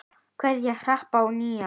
Kveðja, Harpa og Nína.